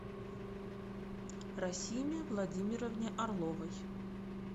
расиме владимировне орловой